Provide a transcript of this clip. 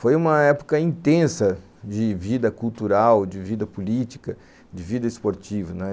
Foi uma época intensa de vida cultural, de vida política, de vida esportiva.